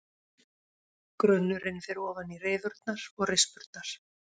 Grunnurinn fer ofan í rifurnar og rispurnar.